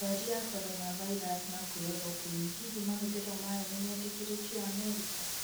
Ndwari ya Coronavirus na chloroquine: Hihi mahũthiro mayo nimeirikiritio Amerika?